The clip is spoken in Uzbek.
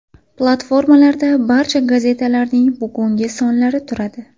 Platformalarda barcha gazetalarning bugungi sonlari turadi.